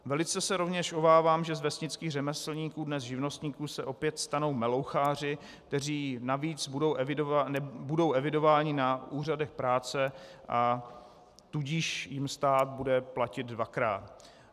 Velice se rovněž obávám, že z vesnických řemeslníků, dnes živnostníků, se opět stanou meloucháři, kteří navíc budou evidováni na úřadech práce, a tudíž jim stát bude platit dvakrát.